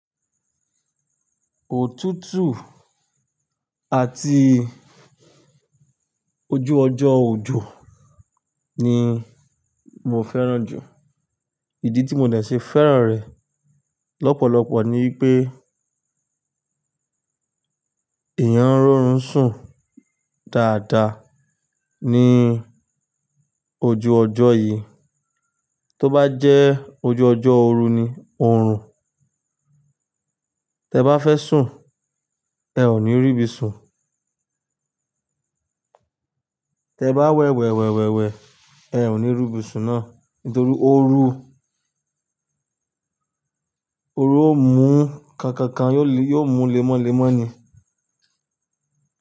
Òtútù àti ojú ọjọ́ òjò ni mo fẹ́ràn jù. Ìdí tí mo dẹ̀ ṣe fẹ́ràn rẹ̀ lọ́pọ̀lọpọ̀ ni pé èèyàn rọrùn sùn dáadáa ní ojú ọjọ́ yìí. Tó bá jẹ́ ojú ọjọ́ òru ni, òòrùn. Tẹ bá fẹ́ sùn, ẹ ò ní rí ibi sùn. Tẹ bá wẹ̀wẹ̀ wẹ̀wẹ̀ wẹ̀, ẹ ò ní rí ibi sùn náà nítorí o ru. Oru ó mú ka kan kan, yóò mú lemọ́lemọ́ ni.